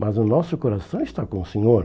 Mas o nosso coração está com o Senhor.